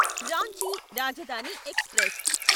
Ranchi Rajdhani express